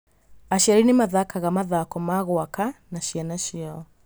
Aciari nĩ mathakaga mathako ma gwaka na ciana ciao.